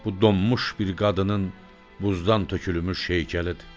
Bu donmuş bir qadının buzdan tökülmüş heykəlidir.